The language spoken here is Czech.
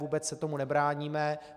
Vůbec se tomu nebráníme.